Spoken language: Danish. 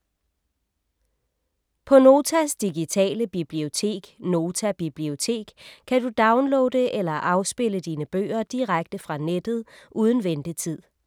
På Notas digitale bibliotek, Nota Bibliotek, kan du downloade eller afspille dine bøger direkte fra nettet uden ventetid.